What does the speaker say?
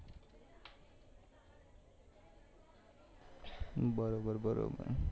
બરોબર બરોબર